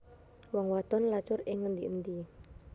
Wong wadon lacur ing ngendi endi